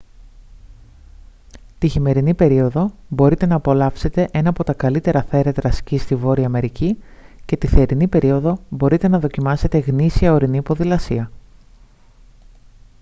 τη χειμερινή περίοδο μπορείτε να απολαύσετε ένα από τα καλύτερα θέρετρα σκι στη βόρεια αμερική και τη θερινή περίοδο μπορείτε να δοκιμάσετε γνήσια ορεινή ποδηλασία